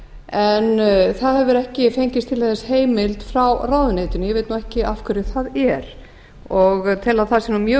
en það hefur ekki fengist til þess heimild frá ráðuneytinu ég veit ekki af hverju það er og tel að það sé nú mjög